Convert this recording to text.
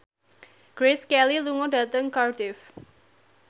Grace Kelly lunga dhateng Cardiff